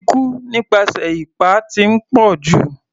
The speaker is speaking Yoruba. Ikú nípasẹ̀ ipá ti ń pọ̀jù.